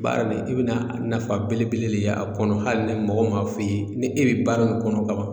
Baara de i bɛna nafa belebele de ye a kɔnɔ hali ni mɔgɔ m'a f'i ye ni e bɛ baara min kɔnɔ ka ban